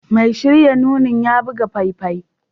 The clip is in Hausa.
Mai shirya nunin ya buga faifai